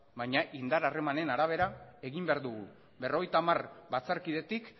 baina indar harremanen arabera egin behar dugu berrogeita hamar batzarkidetik